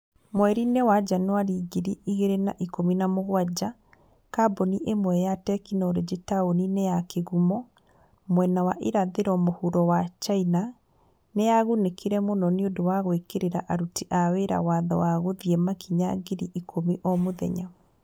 Mweri-inĩ wa Janũarĩ ngiri ĩgĩrĩ na ikũmi na mũgwanja, kambuni ĩmwe ya tekinoronjĩ taũni-inĩ ya kĩgumo, mwena wa irathĩro mũhuro wa China, nĩ yagunĩkire mũno nĩ ũndũ wa gwĩkĩra aruti a wĩra watho wa gũthiĩ makinya ngiri ikũmi o mũthenya